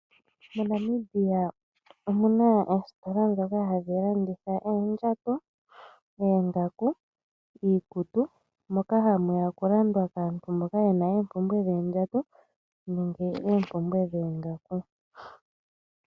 MoNamibia omuna oositola ndhoka hadhi landitha oondjato, oongaku iikutu moka hamuya oku landwa kaantu mboka yena oompumbwe dhoondjato nenge oompumbwe dhoongaku.